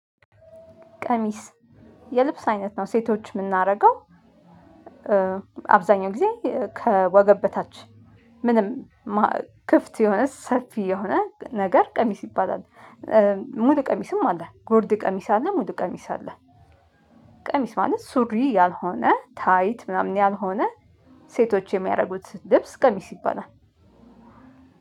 ቀሚስ የልብስ አይነት ነው ሴቶች ምናረገው አብዛኛው ጊዜ ከወገብ በታች ምንም ማ ክፍት የሆነ ሰፊ የሆነ ነገር ቀሚስ ይባላል። ሙሉ ቀሚስም አለ ጉርድ ቀሚስ አለ ሙሉ ቀሚስ አለ። ቀሚስ ማለት ሱሪ ያልሆነ ታይት ምናምን ያልሆነ ሴቶች የሚያረጉት ልብስ ቀሚስ ይባላል።